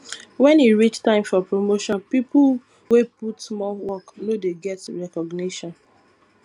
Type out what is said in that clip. when e reach time for promotion pipo wey put more work no dey get recognition